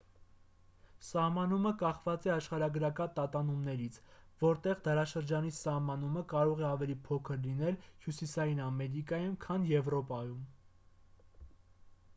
սահմանումը կախված է աշխարհագրական տատանումներից որտեղ դարաշրջանի սահմանը կարող է ավելի փոքր լինել հյուսիսային ամերիկայում քան եվրոպայում